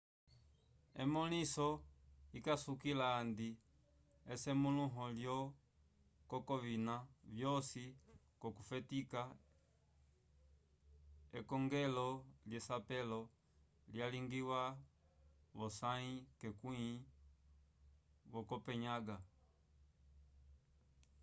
emõliso ikasukila handi esemũluho lyo coi k'ovina vyosi k'okufetika ekongelo lyesapelo lyalingiwa v'osãyi yekwĩ vo copenhaga